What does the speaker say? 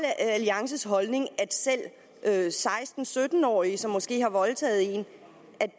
alliances holdning at selv seksten til sytten årige som måske har voldtaget en